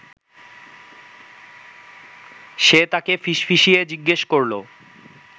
সে তাঁকে ফিসফিসিয়ে জিজ্ঞেস করল